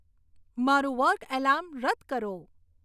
મારું work alarm રદ કરો